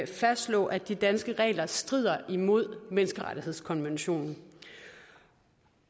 fastslå at de danske regler strider imod menneskerettighedskonventionen